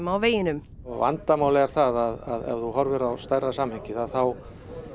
á veginum vandamálið er að ef þú horfir á stærra samhengið þá